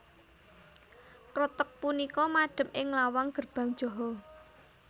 Kreteg punika madep ing lawang Gerbang Jaha